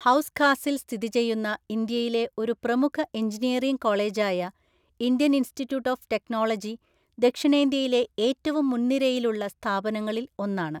ഹൌസ്ഖാസിൽ സ്ഥിതി ചെയ്യുന്ന ഇന്ത്യയിലെ ഒരു പ്രമുഖ എഞ്ചിനീയറിംഗ് കോളേജായ ഇന്ത്യൻ ഇൻസ്റ്റിറ്റ്യൂട്ട് ഓഫ് ടെക്നോളജി ദക്ഷിണേഷ്യയിലെ ഏറ്റവും മുൻനിരയിലുള്ള സ്ഥാപനങ്ങളിൽ ഒന്നാണ്.